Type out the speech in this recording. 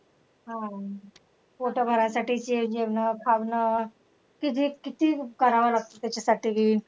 हा पोट भरासाठीचे जेवणं खावणं किती किती करवं लागतं तेच्यासाठी.